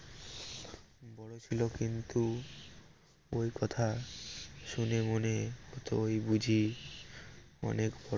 বড় ছিল কিন্তু ওই কথা শুনে মনে হত ওই বুঝি অনেক